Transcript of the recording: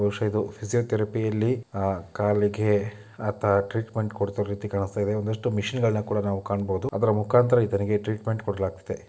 ಬಹುಶ ಇದು ಫಿಸಿಯೊತೆರಪಿಯಲ್ಲಿ ಅಹ್ ಕಾಲಿಗೆ ಆತ ಟ್ರೀಟ್ಮೆಂಟ್ ಕೊಡ್ತಾ ಇರುವ ರೀತಿ ಕಾಣಿಸ್ತಾಯಿದೆ ಒಂದಷ್ಟು ಮಿಷನ್ಗಳ್ನ ಕೂಡ ನಾವು ಕಾಣ್ಬೊದು ಅದ್ರ ಮುಕಾಂತರ ಈತನಿಗೆ ಟ್ರೀಟ್ಮೆಂಟ್ ಕೊಡಲಾಗ್ತಿದೆ.